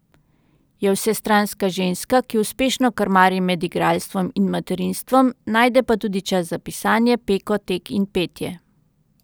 Je vsestranska ženska, ki uspešno krmari med igralstvom in materinstvom, najde pa tudi čas za pisanje, peko, tek in petje.